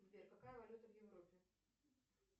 сбер какая валюта в европе